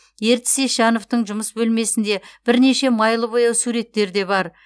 ертіс ещановтың жұмыс бөлмесінде бірнеше майлы бояу суреттер де бар